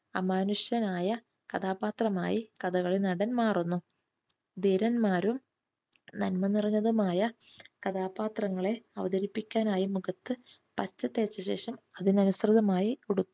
അമാനുഷനായ കഥാപാത്രമായി കഥകളി നടൻ മാറുന്നു. ധീരന്മാരും നന്മ നിറഞ്ഞതുമായ കഥാപാത്രങ്ങളെ അവതരിപ്പിക്കാനായി മുഖത്തു പച്ച തേച്ചതിനു ശേഷം അതിനനുസൃതമായി ഉടുപ്പ്